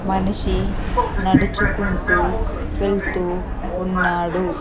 మనిషి నడుచుకుంటూ వెళ్తూ ఉన్నాడు.